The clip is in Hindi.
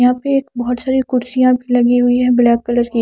यहा पे एक बोहोत सारी कुरसिया भी लगी हुई है ब्लैक कलर की --